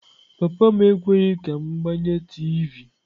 Papa m ekweghị ka m gbanye tiivi.